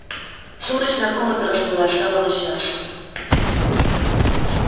сумрачная комната расплылась стала вращаться